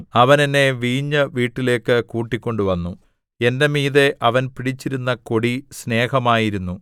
അവൻ എന്നെ വീഞ്ഞുവീട്ടിലേക്ക് കൂട്ടിക്കൊണ്ടുവന്നു എന്റെ മീതെ അവൻ പിടിച്ചിരുന്ന കൊടി സ്നേഹമായിരുന്നു